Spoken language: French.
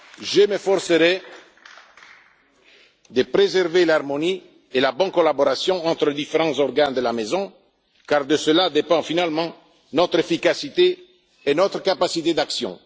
Je m'efforcerai de préserver l'harmonie et la bonne collaboration entre les différents organes de la Maison, car de cela dépendent finalement notre efficacité et notre capacité d'action.